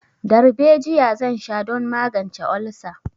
Darbejiya zan sha don magance olsa.